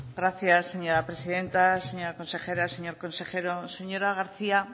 gracias señora presidenta señora consejera señor consejero señora garcía